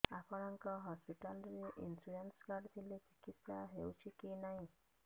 ଆପଣଙ୍କ ହସ୍ପିଟାଲ ରେ insurance card ଥିଲେ ଚିକିତ୍ସା ହେଉଛି କି ନାଇଁ